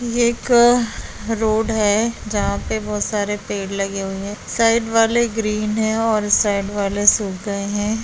ये एक रोड है जहां पर बहुत सारे पेड़ लगे हुए है साइड वाले ग्रीन है और उस साइड वाले सूख गए है।